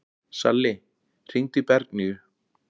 Salli, hringdu í Bergnýju.